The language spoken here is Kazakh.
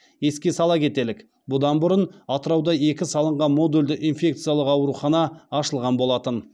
еске сала кетелік бұдан бұрын атырауда екі салынған модульді инфекциялық аурухана ашылған болатын